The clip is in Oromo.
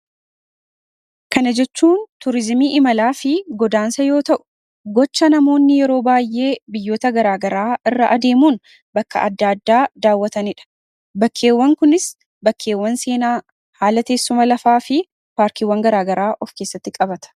kana jechuun tuurizimii imalaa fi godaansa yoo ta'u gocha namoonni yeroo baay'ee biyyota garaagaraa irra adeemuun bakka adda addaa daawwatanii dha .bakkeewwan kunis bakkeewwan seenaa haala teessuma lafaa fi paarkiwwan garaagaraa of keessatti qabata.